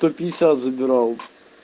только не сейчас забирал